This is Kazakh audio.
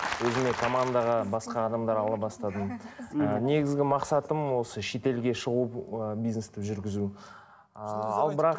өзіме командаға басқа адамдар ала бастадым ы негізгі мақсатым осы шетелге шығу ы бизнесті жүргізу ал бірақ